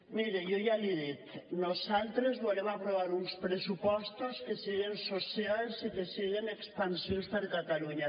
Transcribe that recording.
mire jo ja l’hi dic nosaltres volem aprovar uns pressupostos que siguen socials i que siguen expansius per a catalunya